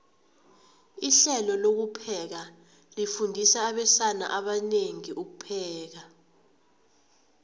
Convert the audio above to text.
ihlelo lokupheka lifundisa abesana abanengi ukupheka